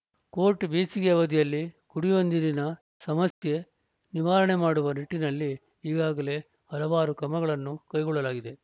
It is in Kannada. ಕೋಟ್‌ ಬೇಸಿಗೆ ಅವಧಿಯಲ್ಲಿ ಕುಡಿಯುವ ನೀರಿನ ಸಮಸ್ಯೆ ನಿವಾರಣೆ ಮಾಡುವ ನಿಟ್ಟಿನಲ್ಲಿ ಈಗಾಗಲೇ ಹಲವಾರು ಕ್ರಮಗಳನ್ನು ಕೈಗೊಳ್ಳಲಾಗಿದೆ